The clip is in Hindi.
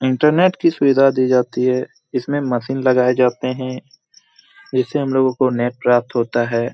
इंटरनेट की सुविधा दी जाती है। इसमें मशीन लगाये जाता है। जिससे हम लोगों को नेट प्राप्त होता है।